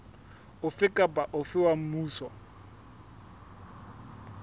ofe kapa ofe wa mmuso